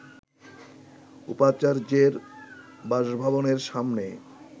উপাচার্যের বাসভবনের সামনে